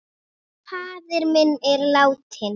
Faðir minn er látinn.